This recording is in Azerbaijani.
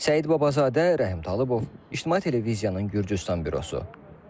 Səid Babazadə, Rəhim Talıbov, İctimai Televiziyanın Gürcüstan bürosu.